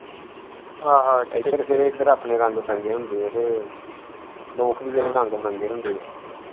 ਇੱਧਰ ਇੱਧਰ ਆਪਣੇ ਰੰਗ ਬਰੰਗੇ ਹੁੰਦੇ ਹੈ ਤੇ ਲੋਕ ਵੀ ਜਿਹੜੇ ਰੰਗ ਬਰੰਗੇ ਹੁੰਦੇ ਹੈ।